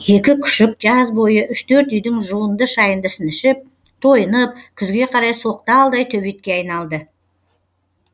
екі күшік жаз бойы үш төрт үйдің жуынды шайындысын ішіп тойынып күзге қарай соқталдай төбетке айналды